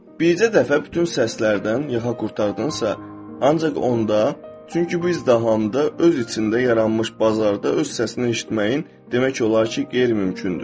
Bircə dəfə bütün səslərdən yaxanı qurtardıqsa, ancaq onda, çünki bu izdihamda öz içində yaranmış bazarda öz səsini eşitməyin demək olar ki, qeyri-mümkündür.